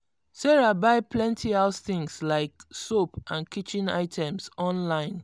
sarah buy plenty house things like soap and kitchen items online.